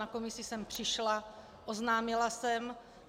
Na komisi jsem přišla, oznámila jsem.